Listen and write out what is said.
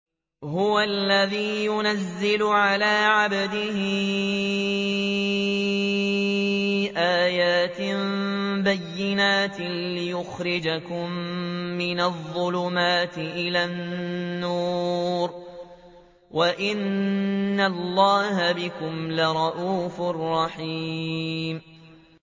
هُوَ الَّذِي يُنَزِّلُ عَلَىٰ عَبْدِهِ آيَاتٍ بَيِّنَاتٍ لِّيُخْرِجَكُم مِّنَ الظُّلُمَاتِ إِلَى النُّورِ ۚ وَإِنَّ اللَّهَ بِكُمْ لَرَءُوفٌ رَّحِيمٌ